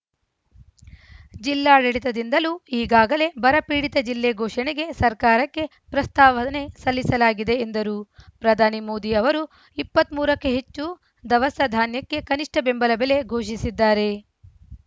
ಜಿಲ್ಲಾಡಳಿತದಿಂದಲೂ ಈಗಾಗಲೇ ಬರ ಪೀಡಿತ ಜಿಲ್ಲೆ ಘೋಷಣೆಗೆ ಸರ್ಕಾರಕ್ಕೆ ಪ್ರಸ್ತಾವನೆ ಸಲ್ಲಿಸಲಾಗಿದೆ ಎಂದರು ಪ್ರಧಾನಿ ಮೋದಿ ಅವರು ಇಪ್ಪತ್ತ್ ಮೂರ ಕ್ಕೂ ಹೆಚ್ಚು ದವಸ ಧಾನ್ಯಕ್ಕೆ ಕನಿಷ್ಟಬೆಂಬಲ ಬೆಲೆ ಘೋಷಿಸಿದ್ದಾರೆ